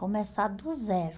Começar do zero.